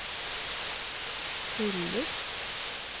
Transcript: fyller